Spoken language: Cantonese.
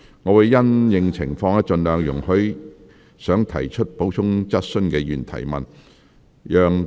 我會因應情況，盡量容許想提出補充質詢的議員提問。